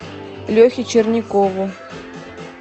лехе черникову